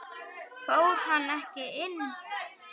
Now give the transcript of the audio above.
Fór hann ekki inn?